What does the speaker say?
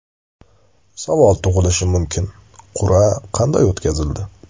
Savol tug‘ilishi mumkin: qur’a qanday o‘tkazildi?